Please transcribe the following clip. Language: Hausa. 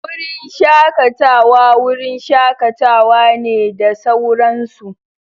Wurin shakatawa wurin shakatawa ne da sauran su.